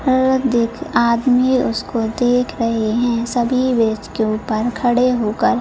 औरत देख आदमी उसको देख रहे हैं सभी ब्रिज के उपर खड़े होकर --